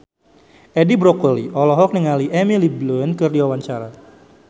Edi Brokoli olohok ningali Emily Blunt keur diwawancara